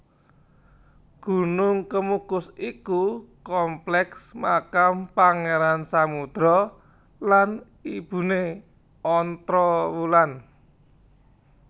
Gunung Kemukus iku kompleks makam Pangeran Samudro lan ibune Ontrowulan